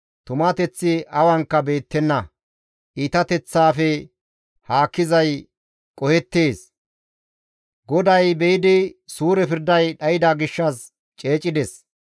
Tumateththi awankka beettenna; iitateththaafe haakkizay qohettees; GODAY be7idi suure pirday dhayda gishshas ceecides.